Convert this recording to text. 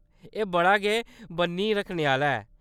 एह्‌‌ बड़ा गै बʼन्नी रक्खने आह्‌ला ऐ।